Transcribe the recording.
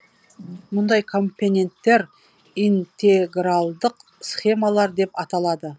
мұндай компоненттер интегралдық схемалар деп аталады